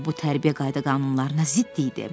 Axı bu tərbiyə qayda-qanunlarına zidd idi.